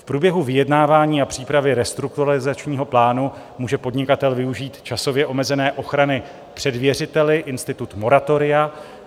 V průběhu vyjednávání a přípravě restrukturalizačního plánu může podnikatel využít časově omezené ochrany před věřiteli - institut moratoria.